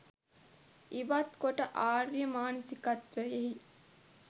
ඉවත් කොට ආර්ය මානසිකත්වයෙහි